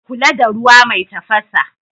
A kula da ruwa mai tafasa.